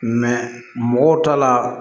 mɔgɔw ta la